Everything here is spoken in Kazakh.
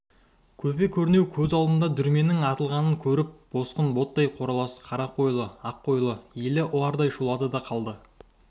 көпе-көрнеу көз алдарында дүрменнің атылғанын көріп босқын ботбай қоралас қарақойлы аққойлы елі ұлардай шулады да қалды